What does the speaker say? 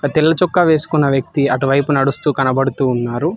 తెల్ల చొక్కా వేసుకున్న వ్యక్తి అటువైపు నడుస్తూ కనబడుతూ ఉన్నారు.